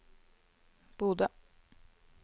Bodø